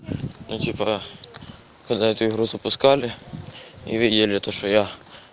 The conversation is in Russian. ну типа когда эту игру запускали и видели то что я